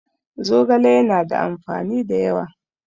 Zogale ya na da amfani da yawa